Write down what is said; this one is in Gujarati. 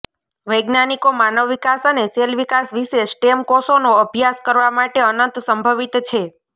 વૈજ્ઞાનિકો માનવ વિકાસ અને સેલ વિકાસ વિશે સ્ટેમ કોષોનો અભ્યાસ કરવા માટે અનંત સંભવિત છે